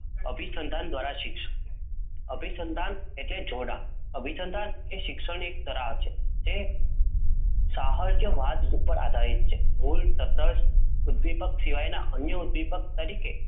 અભિસંધાન દ્વારા શિક્ષણ. અભિસંધાન એટલે જોડાણ. અભિસંધાન એ શિક્ષણ એક તરાહ છે તે સાહર કે વાત પર આધારિત છે. ભૂલ, તટસ્થ, ઉદ્દીપક સિવાયના અન્ય ઉદ્દીપક તરીકે